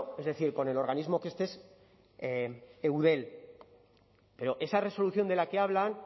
es decir con el organismo que este es eudel pero esa resolución de la que hablan